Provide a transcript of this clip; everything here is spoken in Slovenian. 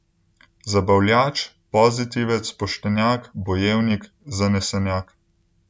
Zabavljač, pozitivec, poštenjak, bojevnik, zanesenjak.